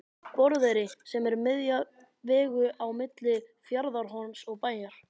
Borðeyri sem er miðja vegu á milli Fjarðarhorns og Bæjar.